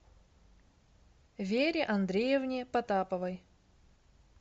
вере андреевне потаповой